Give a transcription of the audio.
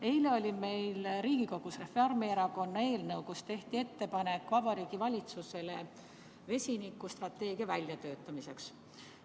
Eile oli meil Riigikogus arutlusel Reformierakonna eelnõu, millega tehti Vabariigi Valitsusele ettepanek vesinikustrateegia väljatöötamiseks.